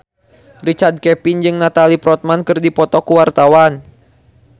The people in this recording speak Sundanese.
Richard Kevin jeung Natalie Portman keur dipoto ku wartawan